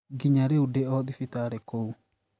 Nginya rĩu ndĩ o thibitarĩ kũu